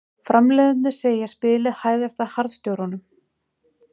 Framleiðendurnir segja spilið hæðast að harðstjórunum